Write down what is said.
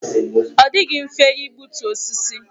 Ọ dịghị mfe igbutu osisi.